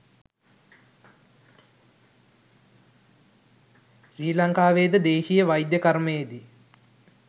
ශ්‍රි ලංකාවේද දේශීය වෛද්‍ය කර්මයේදී